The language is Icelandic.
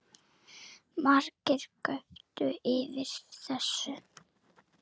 Margir göptu yfir þessu